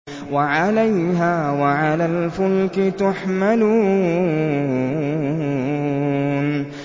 وَعَلَيْهَا وَعَلَى الْفُلْكِ تُحْمَلُونَ